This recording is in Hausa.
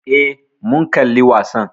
Eh, mun kalli wasan